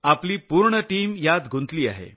आपली पूर्ण टीम यात गुंतली आहे